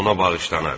Ona bağışlanar.